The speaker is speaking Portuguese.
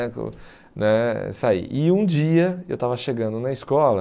né isso aí. E um dia eu estava chegando na escola...